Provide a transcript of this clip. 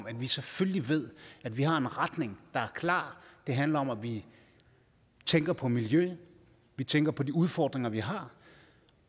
at vi selvfølgelig ved at vi har en retning der er klar det handler om at vi tænker på miljøet at vi tænker på de udfordringer vi har